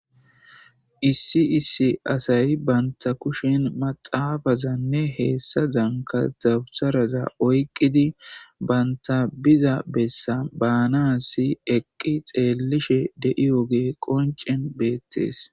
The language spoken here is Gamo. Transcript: Issi issi asay banta kushin maxaabazanne heessa zanka zabusaraza oyqqidi banta biza bessa baana si eqqi xeellishe de'iyoge qoncen beettees.